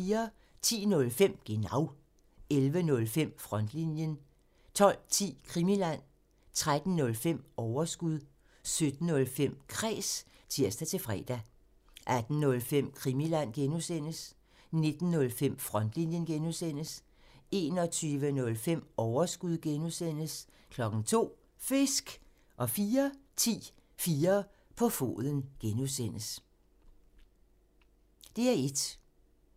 10:05: Genau 11:05: Frontlinjen 12:10: Krimiland 13:05: Overskud 17:05: Kræs (tir-fre) 18:05: Krimiland (G) 19:05: Frontlinjen (G) 21:05: Overskud (G) 02:00: Fisk! 04:10: 4 på foden (G)